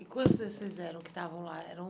E quantos de vocês eram que estavam lá, eram?